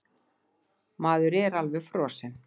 Maður er alveg frosinn!